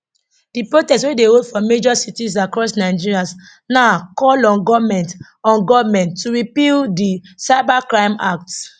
di protest wey dey hold for major cities across nigeria na call on goment on goment to repeal di cyber crime act